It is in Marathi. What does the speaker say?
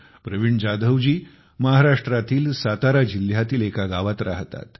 प्रवीण जाधव जी महाराष्ट्रातील सातारा जिल्ह्यातील एका गावात राहतात